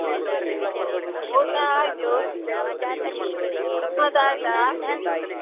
ಊಟ ಆಯ್ತು ನಿಮ್ಮದಾಯ್ತಾ?